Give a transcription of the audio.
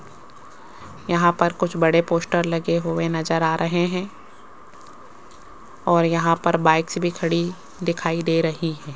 यहां पर कुछ बड़े पोस्टर लगे हुए नजर आ रहे हैं और यहां पर बाइक्स भी खड़ी दिखाई दे रही है।